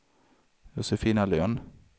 Josefina Lönn